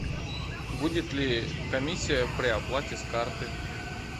будет ли комиссия при оплате с карты